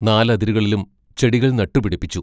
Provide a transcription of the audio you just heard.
നാലതിരുകളിലും ചെടികൾ നട്ടുപിടിപ്പിച്ചു.